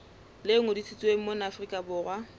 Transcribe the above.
le ngodisitsweng mona afrika borwa